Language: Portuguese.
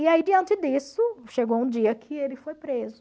E aí, diante disso, chegou um dia que ele foi preso.